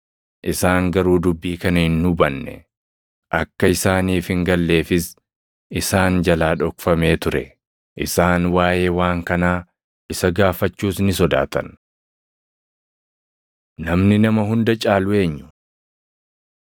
Isaan garuu dubbii kana hin hubanne. Akka isaaniif hin galleefis isaan jalaa dhokfamee ture; isaan waaʼee waan kanaa isa gaafachuus ni sodaatan. Namni Nama Hunda Caalu Eenyu? 9:46‑48 kwf – Mat 18:1‑5 9:46‑50 kwf – Mar 9:33‑40